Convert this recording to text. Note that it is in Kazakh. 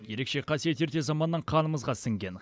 ерекше қасиет ерте заманнан қанымызға сіңген